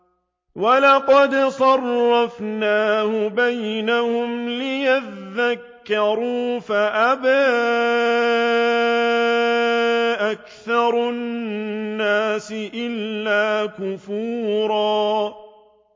وَلَقَدْ صَرَّفْنَاهُ بَيْنَهُمْ لِيَذَّكَّرُوا فَأَبَىٰ أَكْثَرُ النَّاسِ إِلَّا كُفُورًا